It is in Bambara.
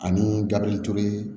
Ani gabirituru